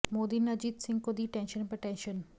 मोदी ने अजित सिंह को दी टेंशन पर टेंशन